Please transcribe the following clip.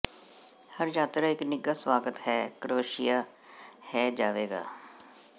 ਹਰ ਯਾਤਰਾ ਇੱਕ ਨਿੱਘਾ ਸਵਾਗਤ ਹੈ ਕਰੋਸ਼ੀਆ ਹੈ ਜਾਵੇਗਾ